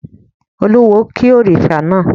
Olúwo ki òrìṣà náà.